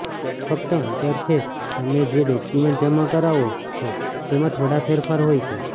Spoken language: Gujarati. ફક્ત અંતર છે તમે જે ડોક્યુમેન્ટ જમા કરાવો છો તેમાં થોડો ફેરફાર હોય છે